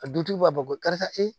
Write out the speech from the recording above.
A dutigiw b'a bɔ karisa ee